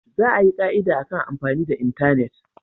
Za a yi ka'ida akan amfani da intanet.